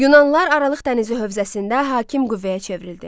Yunanlılar Aralıq dənizi hövzəsində hakim qüvvəyə çevrildi.